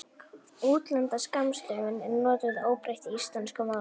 útlenda skammstöfunin er notuð óbreytt í íslensku máli